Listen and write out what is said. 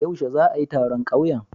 Yaushe za'a yi taron ƙauyen?